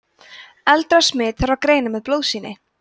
eldra smit þarf að greina með blóðsýni